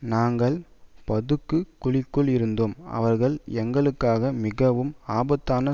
நாங்கள் பதுங்கு குழிக்குள் இருந்தோம் அவர்கள் எங்களுக்காக மிகவும் ஆபத்தான